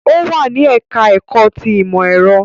Ó wà ní ẹ̀ká ẹ̀kọ́ ti ìmọ̀ ẹ̀rọ